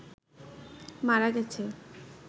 মারা গেছে